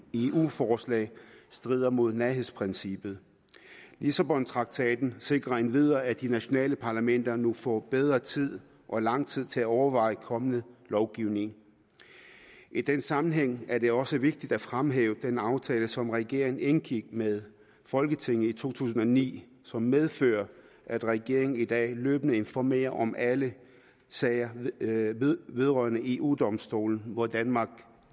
forslag strider mod nærhedsprincippet lissabontraktaten sikrer endvidere at de nationale parlamenter nu får bedre tid og lang tid til at overveje kommende lovgivning i den sammenhæng er det også vigtigt at fremhæve den aftale som regeringen indgik med folketinget i to tusind og ni som medfører at regeringen i dag løbende informerer om alle sager vedrørende eu domstolen hvor danmark